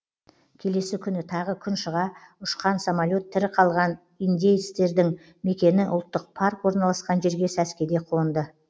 келесі күні тағы күн шыға ұшқан самолет тірі қалған индеецтердің мекені ұлттық парк орналасқан жерге сәскеде қонды